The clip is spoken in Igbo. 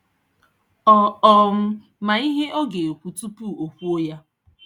Ọ um ma ihe ọ ga-ekwu tupu o kwuo ya.